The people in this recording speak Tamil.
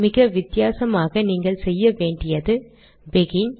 மிக வித்தியாசமாக நீங்கள் செய்ய வேண்டியது பெகின்